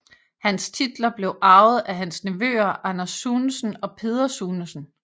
Hans titler blev arvet af hans nevøer Anders Sunesen og Peder Sunesen